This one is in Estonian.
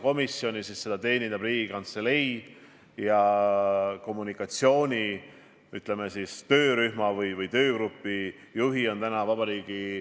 Ja mul on hea meel ka selle üle, et peaminister hetk tagasi luges ette, mis siis saab, kui me peaksime eriolukorra välja kuulutama.